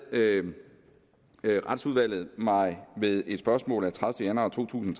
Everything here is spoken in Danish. retsudvalget mig ved et spørgsmål af tredivete januar to tusind